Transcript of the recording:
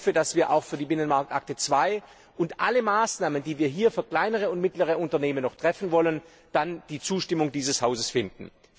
Ich hoffe, dass wir auch für die Binnenmarktakte II und alle Maßnahmen, die wir hier für kleinere und mittlere Unternehmen noch treffen wollen, dann die Zustimmung dieses Hauses finden.